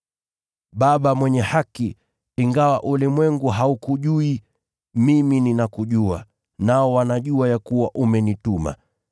“Baba Mwenye Haki, ingawa ulimwengu haukujui, mimi ninakujua, nao wanajua ya kuwa umenituma.